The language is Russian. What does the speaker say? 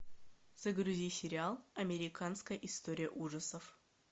загрузи сериал американская история ужасов